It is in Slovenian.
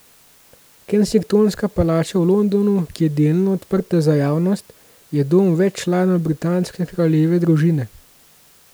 Kensingtonska palača v Londonu, ki je delno odprta za javnost, je dom več članov britanske kraljeve družine.